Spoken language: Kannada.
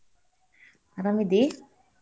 ಅರಾಮದೀ?